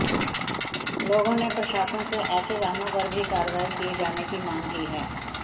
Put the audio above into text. लोगों ने प्रशासन से ऐसे वाहनों पर भी कार्रवाई किए जाने की मांग की है